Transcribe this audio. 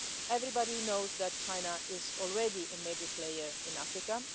Everybody knows that China is already a major player in Africa.